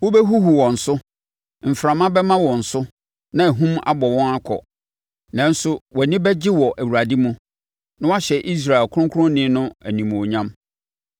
Wobɛhuhu wɔn so, mframa bɛma wɔn so, na ahum abɔ wɔn akɔ. Nanso wʼani bɛgye wɔ Awurade mu na woahyɛ Israel Ɔkronkronni no animuonyam.